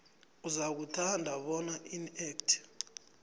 uzakuthanda bona inac